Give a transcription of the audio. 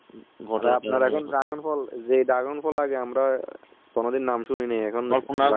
আপনারা যেই dragon ফল এই dragon ফল আগে আমরা কখনো নাম শুনিনি